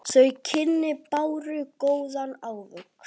Þau kynni báru góðan ávöxt.